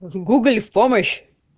гугл в помощь